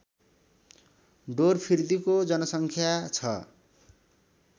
ढोरफिर्दीको जनसङ्ख्या छ